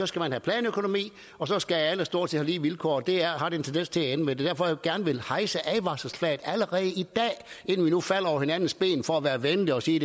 skal have planøkonomi og så skal alle stort set have lige vilkår det har det en tendens til at ende med det derfor jeg gerne vil hejse advarselsflaget allerede i dag inden vi nu falder over hinandens ben for at være venlige og sige